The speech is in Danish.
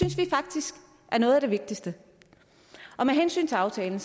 er noget af det vigtigste med hensyn til aftalen